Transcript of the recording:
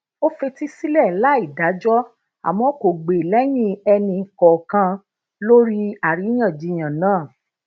ó fetí sílè láì dájó àmó kò gbe leyin eni kookan lori ariyanjiyan naa